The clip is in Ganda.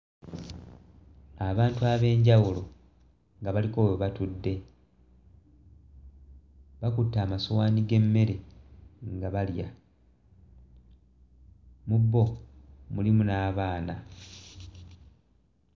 Abantu ab'enjawulo nga baliko we batudde bakutte amasowaani g'emmere nga balya mu bo mulimu n'abaana.